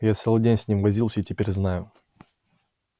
я целый день с ними возился и теперь знаю